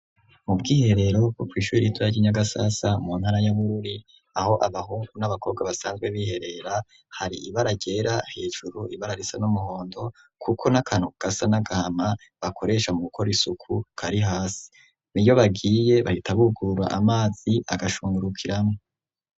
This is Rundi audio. Mu bw'iherero bwo kw'ishure ritoya ry'inyagasasa mu ntara ya Bururi aho abahungu n'abakobwa basanzwe biherera hari ibara ryera hejuru ibara risa n'umuhondo kuko n'akantu gasa n'agahama bakoresha mu gukora isuku kari hasi, n'iyo bagiye bahita bugura amazi agashungurukiramwo.